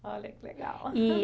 Olha que legal. E